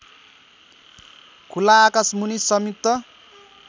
खुला आकाशमुनि संयुक्त